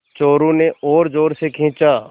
चोरु ने और ज़ोर से खींचा